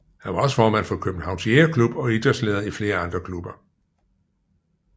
Han var også formand for Københavns Jægerklub og idrætsleder i flere andre klubber